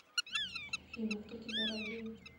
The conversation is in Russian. афина кто тебя родил